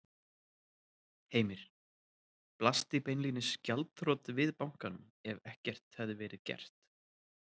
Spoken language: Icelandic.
Heimir: Blasti beinlínis gjaldþrot við bankanum ef ekkert hefði verið gert?